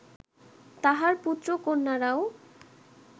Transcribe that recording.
তাঁহার পুত্র-কন্যারাও